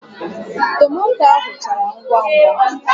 Tomato ahụ chara ngwa ngwa